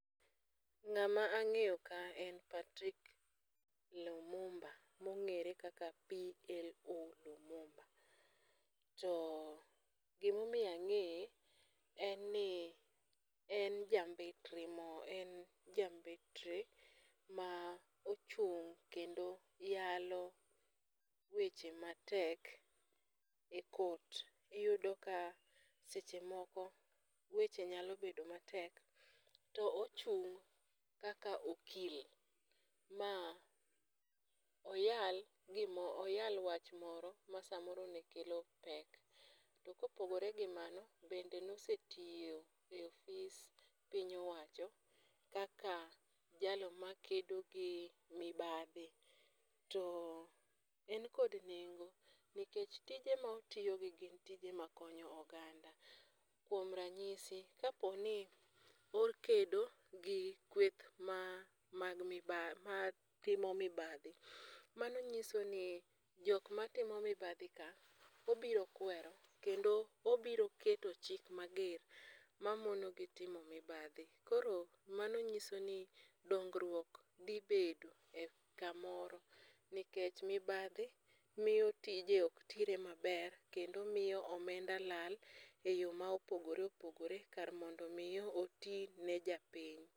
Ng'ama ang'eyo ka en Patrick Lumumba mong'ere kaka Plo Lumumba. To gimomiyo ang'eye en ni en jambetre ma ochung' kendo yalo weche matek e court. Iyudo ka sechemoko weche nyalo bedo matek to ochung' kaka okil ma oyal gima, oyal wach moro ma samoro nekelo pek. To kopogore gi mano bende nosetiyo e ofis piny owacho kaka jalno makedo gi mibadhi. To en kod nengo nikech tije ma otiogi gin tije makonyo oganda. Kuom ranyisi kaponi ni okedo gi kueth matimo mibadhi. Manonyisoni jok matimo mibadhi ka obiro kwero to kendo obiro keto chik mager mamonogi timo mibadhi. Koro manonyisoni dongruok dhi bedo e kamoro nikech mibadhi mio tije ok tire maber kendo miyo omenda lal e yoo maopogore opogore kar mondo mii otine japiny.